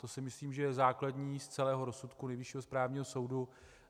To si myslím, že je základní z celého rozsudku Nejvyššího správního soudu.